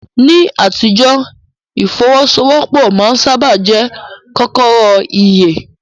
Ní àtijọ́, ìfọ́wọ́sọwọ́pọ̀ máa ń sáábà jẹ́ kọ́kọ́rọ́ ìyè.